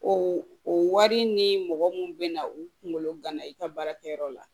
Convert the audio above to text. O o wari ni mɔgɔ mun be na u kunkolo gana i ka baarakɛyɔrɔ la